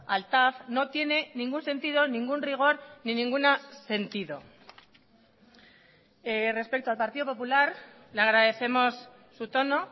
al tav no tiene ningún sentido ningún rigor ni ninguna sentido respecto al partido popular le agradecemos su tono